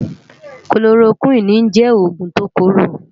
Kólórókwini jè ógún tó kóró